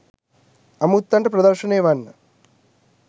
අමුත්තන්ට ප්‍රදර්ශනය වන්න